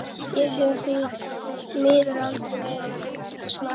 Ég hef því miður aldrei verið bindindismaður.